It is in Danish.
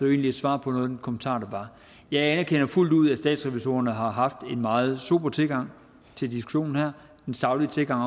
egentlig et svar på nogle kommentarer der var jeg anerkender fuldt ud at statsrevisorerne har haft en meget sober tilgang til diskussionen her den saglige tilgang